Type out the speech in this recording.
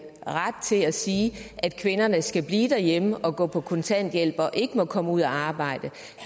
ret til at sige at kvinderne skal blive derhjemme og gå på kontanthjælp og ikke må komme ud at arbejde